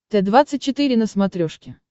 т двадцать четыре на смотрешке